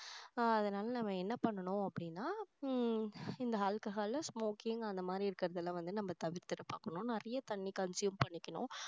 அதனால நம்ம என்ன பண்ணணும் அப்படின்னா உம் இந்த alcohol, smoking அந்த மாதிரி இருக்கிறது எல்லாம் வந்து நம்ம தவிர்த்திட பாக்கணும் நிறைய தண்ணி consume பண்ணிக்கணும்